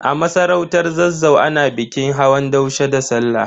A masarautar Zazzau, ana bikin hawan daushe da Sallah.